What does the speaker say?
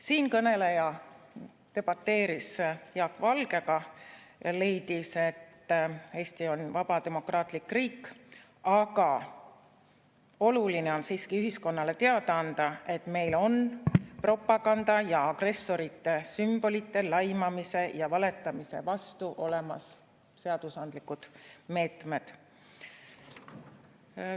Siinkõneleja debateeris Jaak Valgega ja leidis, et Eesti on vaba demokraatlik riik, aga oluline on siiski ühiskonnale teada anda, et meil on propaganda ja agressorite sümbolite, laimamise ja valetamise vastu olemas seadusandlikud meetmed.